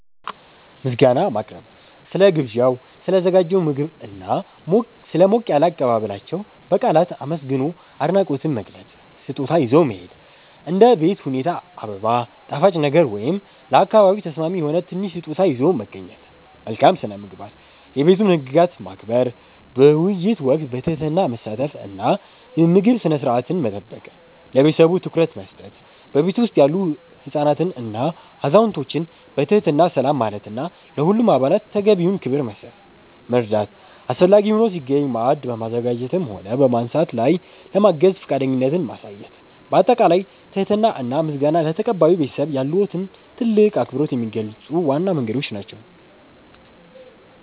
ምስጋና ማቅረብ፦ ስለ ግብዣው፣ ስለ ተዘጋጀው ምግብና ስለ ሞቅ ያለ አቀባበላቸው በቃላት አመስግኖ አድናቆትን መግለጽ። ስጦታ ይዞ መሄድ፦ እንደ ቤት ሁኔታ አበባ፣ ጣፋጭ ነገር ወይም ለአካባቢው ተስማሚ የሆነ ትንሽ ስጦታ ይዞ መገኘት። መልካም ስነ-ምግባር፦ የቤቱን ህግጋት ማክበር፣ በውይይት ወቅት በትህትና መሳተፍ እና የምግብ ስነ-ስርዓትን መጠበቅ። ለቤተሰቡ ትኩረት መስጠት፦ በቤቱ ውስጥ ያሉ ህፃናትንና አዛውንቶችን በትህትና ሰላም ማለትና ለሁሉም አባላት ተገቢውን ክብር መስጠት። መርዳት፦ አስፈላጊ ሆኖ ሲገኝ ማዕድ በማዘጋጀትም ሆነ በማንሳት ላይ ለማገዝ ፈቃደኝነትን ማሳየት። ባጠቃላይ ትህትና እና ምስጋና ለተቀባዩ ቤተሰብ ያለዎትን ትልቅ አክብሮት የሚገልጹ ዋና መንገዶች ናቸው።